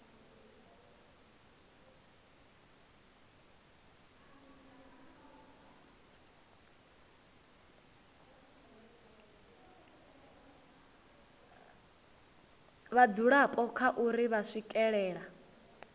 vhadzulapo kha uri vha swikelela